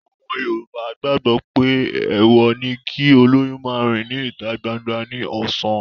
Àwọn Yorùbá gbàgbọ́ pé èèwọ̀ ni kí olóyún máa rìn ní ìta gbangba ní ọ̀sán